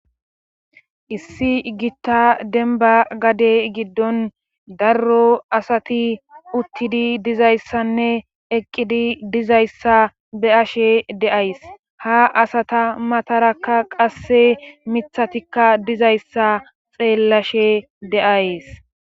issi gitta denba gade giddon darro asati uttidi dizayssanne eqqidi dizayssa be ashe deays ha asata matarakka qasse mithatikka dizayssa xeellashe deays